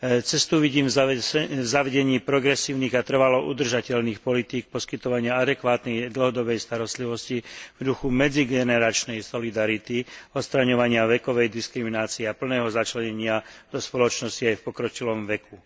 Cestu vidím v zavedení progresívnych a trvalo udržateľných politík poskytovania adekvátnej dlhodobej starostlivosti v duchu medzigeneračnej solidarity, odstraňovania vekovej diskriminácie a plného začlenenia do spoločnosti aj v pokročilom veku.